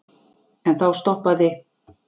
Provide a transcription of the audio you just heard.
En þá stoppaði